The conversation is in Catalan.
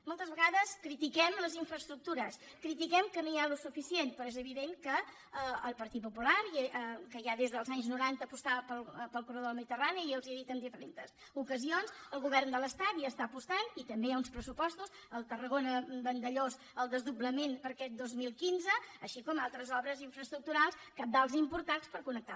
moltes vegades critiquem les infraestructures critiquem que no hi ha el suficient però és evident que el partit popular que ja des del anys noranta apostava pel corredor del mediterrani jo els ho he dit en diferents ocasions el govern de l’estat hi està apostant i també hi ha uns pressupostos el tarragona vandellòs el desdoblament per a aquest dos mil quinze així com altres obres infraestructurals cabdals i importants per connectar